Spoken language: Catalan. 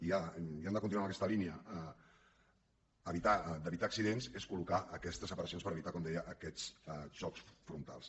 i hem de continuar en aques·ta línia d’evitar accidents és col·locar aquestes separa·cions per evitar com deia aquests xocs frontals